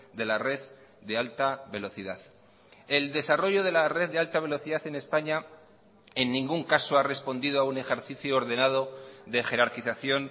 de la red de alta velocidad el desarrollo de la red de alta velocidad en españa en ningún caso ha respondido a un ejercicio ordenado de jerarquización